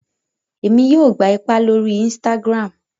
Èmi yóò gbà ipá lórí instagram